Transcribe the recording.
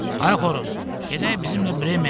Ay xoruz, gedək bizimlə Bremen şəhərinə.